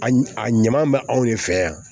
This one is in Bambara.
A a ɲuman bɛ anw de fɛ yan